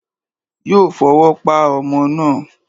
Yóò fọwọ́ pa ọmọ náà.